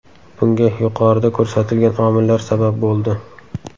Bunga yuqorida ko‘rsatilgan omillar sabab bo‘ldi.